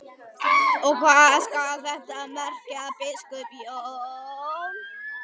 Og hvað skal þetta merkja, biskup Jón?